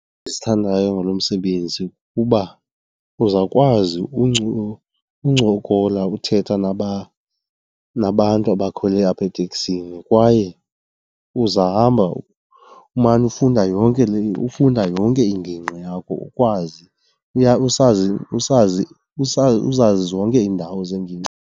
Endizithandayo ngalo msebenzi kuba uzawukwazi uncokola uthetha nabantu abakhweli apha eteksini kwaye uzahamba umane ufunda yonke le, ufunda yonke ingingqi yakho ukwazi, usazi , uzazi zonke iindawo zengingqi.